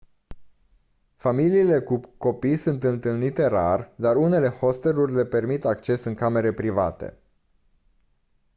familiile cu copii sunt întâlnite rar dar unele hosteluri le permit accesul în camere private